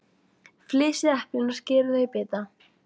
Flysjið eplin og skerið þau í bita.